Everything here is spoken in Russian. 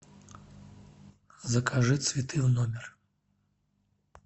закажи цветы в номер